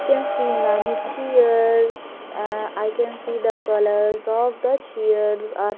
I can see many chairs ah i can see the colours of the chairs are --